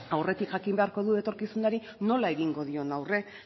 aurretik jakin beharko du etorkizunari nola egingo dion aurre